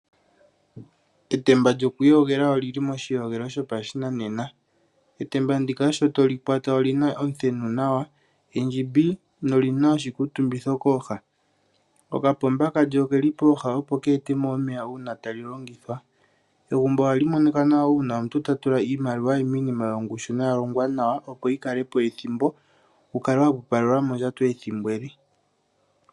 Etemba gela oli li moshiyogelo shopashinanena. Etemba ndika sho to li kwata oli na omuthenu nawa, endjimbi noli na oshikuutumbitho kooha. Okapomba kalyo oke li pooha, opo ke ete mo omeya uuna tali longithwa. Egumbo ohali monika nawa uuna omuntu ta tula iimaliwa ye miinima yongushu noya longwa nawa, opo yi kale po ethimbo wu kale wa pupalelwa mondjato ethimbo ele.